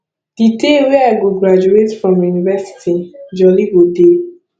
di day wey i go graduate from university jolly go dey